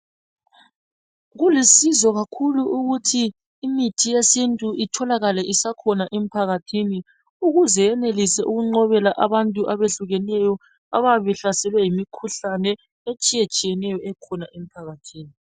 Kulusizo kakhulu ukuthi imithi yesintu itholakale isakhona emphakathini ukuze iyenelisa ukuqobela abantu abehlukeneyo abayabe behlaselwe yimikhuhlane etshiyetshiyeneyo ekhona emphakathini.